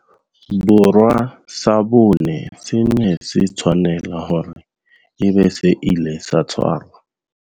Borwa sa bone se ne se tshwanela hore e be se ile sa tshwarwa.